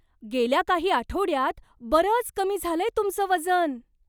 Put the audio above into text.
गेल्या काही आठवड्यांत बरंच कमी झालंय तुमचं वजन!